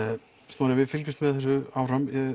Snorri við fylgjumst með þessu áfram